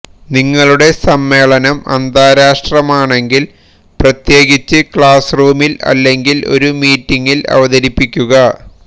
നിങ്ങളുടെ സമ്മേളനം അന്താരാഷ്ട്രമാണെങ്കിൽ പ്രത്യേകിച്ചും ക്ലാസ്റൂമിൽ അല്ലെങ്കിൽ ഒരു മീറ്റിംഗിൽ അവതരിപ്പിക്കുക